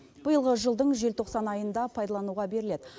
биылғы жылдың желтоқсан айында пайдалануға беріледі